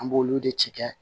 An b'olu de ci kɛ